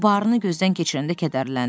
O barını gözdən keçirəndə kədərləndi.